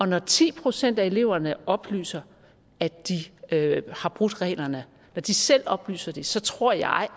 når ti procent af eleverne oplyser at de har brudt reglerne når de selv oplyser det så tror jeg